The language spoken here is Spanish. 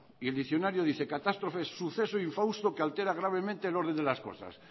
y el diccionario dice catástrofe suceso infausto que altera gravemente el orden de las cosas